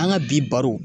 An ka bi baro